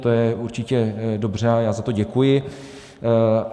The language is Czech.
To je určitě dobře a já za to děkuji.